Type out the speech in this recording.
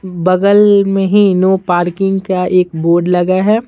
बगल में ही नो पार्किंग का एक बोर्ड लगा है।